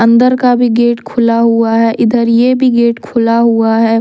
अंदर का भी गेट खुला हुआ है इधर ये भी गेट खुला हुआ है।